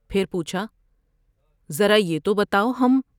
پھر پوچھا ۔" ذرا یہ تو بتاؤ ہم